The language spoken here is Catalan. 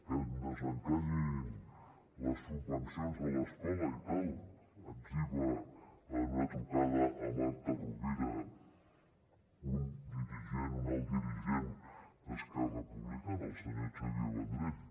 que desencallin les subvencions a l’escola i tal etziba en una trucada a marta rovira un alt dirigent d’esquerra republicana el senyor xavier vendrell